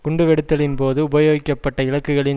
குண்டு வெடித்தலின் போது உபயோகிக்கப்பட்ட இலக்குகளின்